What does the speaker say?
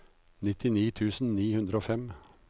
nittini tusen ni hundre og fem